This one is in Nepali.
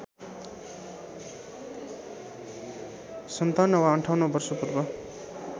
५७ वा ५८ वर्ष पूर्व